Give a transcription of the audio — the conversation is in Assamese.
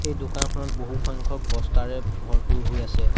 এই দোকানখনত বহু সংখ্যক বস্তাৰে ভৰপূৰ হৈ আছে।